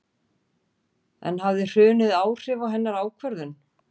En hafði hrunið áhrif á hennar ákvörðun?